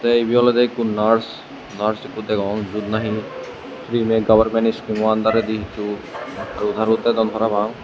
te ibe olode ekko nars nars ekko degongor iyot nahi frime gabarmen iskulo andaredi to hajo daru dedon parabang.